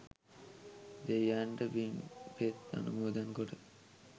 දෙවියන්ට පින්පෙත් අනුමෝදන් කොට